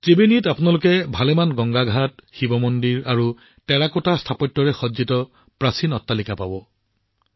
ত্ৰিবেণীত আপোনালোকে টেৰাকোটা স্থাপত্যৰে সজ্জিত বহুতো গংগা ঘাট শিৱ মন্দিৰ আৰু প্ৰাচীন অট্টালিকা পাব